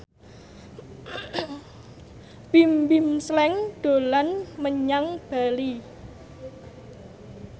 Bimbim Slank dolan menyang Bali